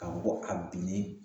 Ka bɔ a binnen